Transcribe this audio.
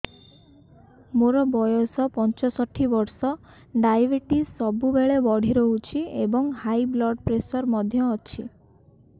ମୋର ବୟସ ପଞ୍ଚଷଠି ବର୍ଷ ଡାଏବେଟିସ ସବୁବେଳେ ବଢି ରହୁଛି ଏବଂ ହାଇ ବ୍ଲଡ଼ ପ୍ରେସର ମଧ୍ୟ ଅଛି